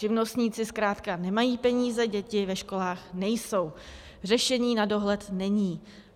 Živnostníci zkrátka nemají peníze, děti ve školách nejsou, řešení na dohled není.